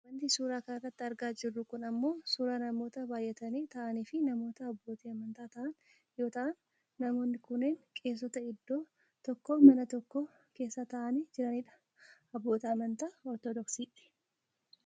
Wanti suuraa kanarratti argaa jirru kun ammoo suuraa namoota baayyatanii taa'aaniifi namoota abbootii amantaa ta'an yoo ta'an . Namoonni kunneen qeesota iddoo tokko mana tokko keessa tataa'anii jiranii dha . Abboota amantaa ortodiksiiti.